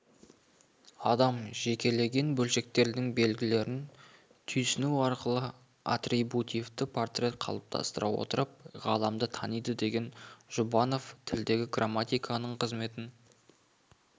адам жекелеген бөлшектердің белгілерін түйсіну арқылы атрибутивті портрет қалыптастыра отырып ғаламды таниды деген жұбанов тілдегі грамматиканың қызметін